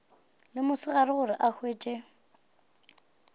le mosegare gore o hwetše